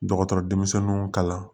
Dɔgɔtɔrɔ denmisɛnninw kalan